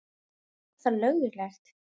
Er þetta löglegt?